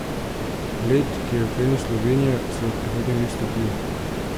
Led, ki je uklenil Slovenijo, se bo v prihodnjih dneh stopil.